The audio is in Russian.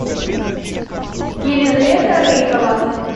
елизавета рыкова